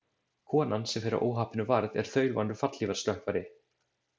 Konan, sem fyrir óhappinu varð, er þaulvanur fallhlífarstökkvari.